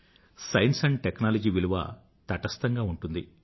science and టెక్నాలజీల విలువ తటస్థంగా ఉంటుంది